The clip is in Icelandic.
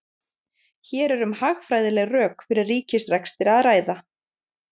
Hér er um hagfræðileg rök fyrir ríkisrekstri að ræða.